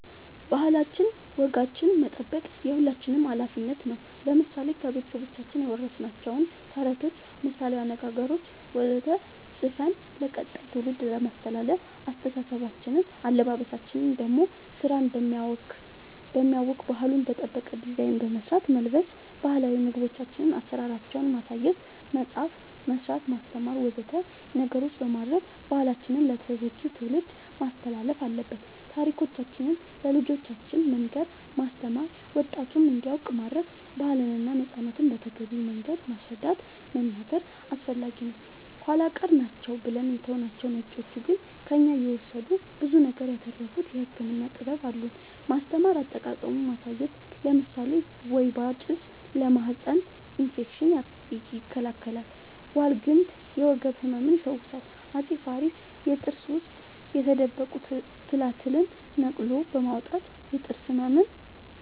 ባህላችን ወጋችን መጠበቅ የሁላችንም አላፊነት ነው ለምሳሌ ከቤተሰቦቻችን የወረስናቸውን ተረቶች ምሳላዊ አነገገሮች ወዘተ ፅፈን ለቀጣይ ትውልድ ማስተላለፍ አለበበሳችን ደሞ ስራን በማያውክ ባህሉን በጠበቀ ዲዛይን በመስራት መልበስ ባህላዊ ምግቦቻችን አሰራራቸውን ማሳየት መፅአፍ መስራት ማስተማር ወዘተ ነገሮች በማድረግ ባህላችንን ለተተኪው ትውልድ ማስተላለፍ አለብን ታሪኮቻችን ለልጆቻን መንገር ማስተማር ወጣቱም እንዲያውቅ ማረግ ባህልና ነፃነትን በተገቢው መንገድ ማስረዳት መናገር አስፈላጊ ነው ኃላ ቀር ናቸው ብለን የተውናቸው ነጮቹ ግን ከእኛ እየወሰዱ ብዙ ነገር ያተረፉበት የህክምና ጥበብ አሉን ማስተማር አጠቃቀሙን ማሳየት ለምሳሌ ወይባ ጭስ ለማህፀን እፌክሽን ይከላከላል ዋልግምት የወገብ ህመም ይፈውሳል አፄ ፋሪስ የጥርስ ውስጥ የተደበቁ ትላትልን ነቅሎ በማውጣት የጥርስ ህመምን